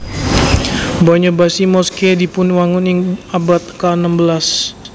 Banya Bashi Mosque dipun wangun ing abad ka enem belas